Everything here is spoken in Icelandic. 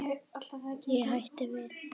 Ég hætti við.